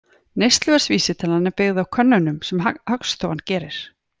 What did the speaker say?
Neysluverðsvísitalan er byggð á könnunum sem Hagstofan gerir.